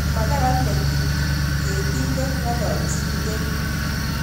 Makararan metit ni ketindet ngololchinikei